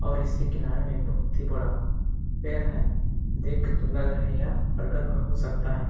और इसके किनारे में एक बहुत ही बड़ा पेड़ है देख के तो लग रहा है यह बरगत का हो सकता है।